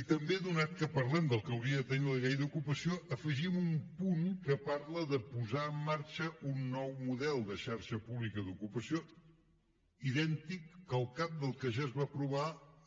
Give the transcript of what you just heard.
i també atès que parlem del que hauria de tenir la llei d’ocupació afegim un punt que parla de posar en marxa un nou model de xarxa pública d’ocupació idèntic calcat del que ja es va aprovar